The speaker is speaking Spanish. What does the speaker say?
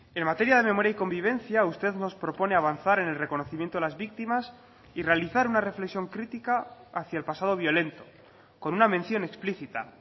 en materia de memoria y convivencia usted nos propone avanzar en el reconocimiento a las víctimas y realizar una reflexión crítica hacia el pasado violento con una mención explícita